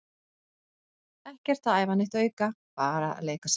Ekkert að æfa neitt auka, bara að leika sér.